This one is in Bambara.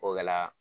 O kɛla